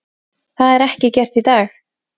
Það er ekki gert í dag!